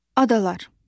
Adalar.